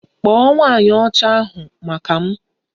Kpọọ nwanyị Ọcha ahụ maka m!